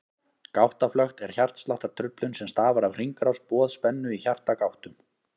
Gáttaflökt er hjartsláttartruflun sem stafar af hringrás boðspennu í hjartagáttum.